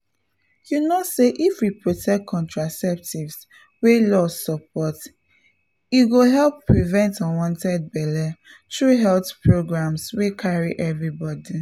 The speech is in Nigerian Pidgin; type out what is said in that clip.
you know say if we protect contraceptives wey law support e go help prevent unwanted belle through health programs wey carry everybody